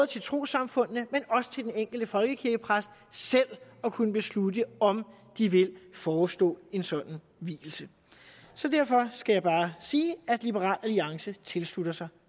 til trossamfundene men også til den enkelte folkekirkepræst selv at kunne beslutte om de vil forestå en sådan vielse så derfor skal jeg bare sige at liberal alliance tilslutter sig